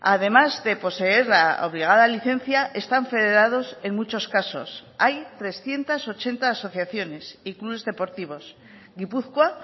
además de poseer la obligada licencia están federados en muchos casos hay trescientos ochenta asociaciones y clubes deportivos gipuzkoa